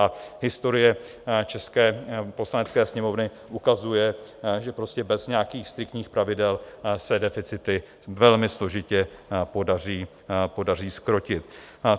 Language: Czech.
A historie české Poslanecké sněmovny ukazuje, že prostě bez nějakých striktních pravidel se deficity velmi složitě podaří zkrotit.